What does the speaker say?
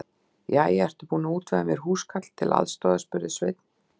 Jæja, ertu búin að útvega mér húskarl til aðstoðar? spurði Sveinn.